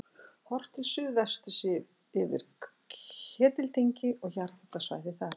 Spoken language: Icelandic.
Horft til suðvesturs yfir hvirfil Ketildyngju og jarðhitasvæðið þar.